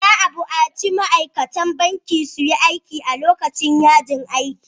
Za a bukaci ma'aikatan banki su yi aiki a lokacin yajin aikin.